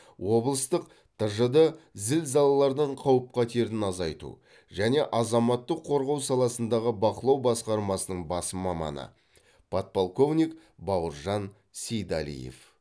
облыстық тжд зілзалалардың қауіп қатерін азайту және азаматтық қорғау саласындағы бақылау басқармасының бас маманы подполковник бауыржан сейдалиев